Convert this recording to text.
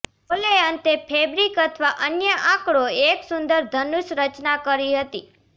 બોલે અંતે ફેબ્રિક અથવા અન્ય આંકડો એક સુંદર ધનુષ રચના કરી હતી